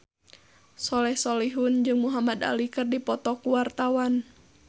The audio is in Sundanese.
Soleh Solihun jeung Muhamad Ali keur dipoto ku wartawan